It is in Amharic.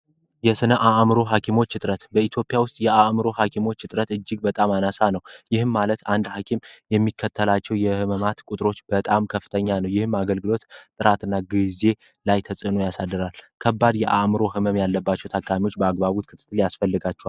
የስነ አእምሮ ሐኪሞች ዕጥረት በኢትዮጵያ ውስጥ የአእምሮ ሐኪሞች ዕጥረት እጅግ በጣም አነሣ ነው ይህም ማለት አንድ ሐኪም የሚከተላቸው የሕምማት ቁጥሮች በጣም ከፍተኛ ነው። ይህም አገልግሎት ጥራት እና ጊዜ ላይ ተጽዕኖ ያሳድራል። ከባድ የአእምሮ ሕመም ያለባቸው ተካሚዎች በአግባቡት ክትትል ያስፈልጋቸዋል።